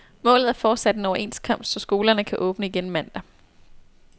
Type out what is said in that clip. Målet er fortsat en overenskomst, så skolerne kan åbne igen mandag.